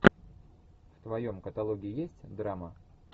в твоем каталоге есть драма